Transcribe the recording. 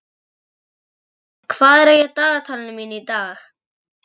Snorri, hvað er í dagatalinu mínu í dag?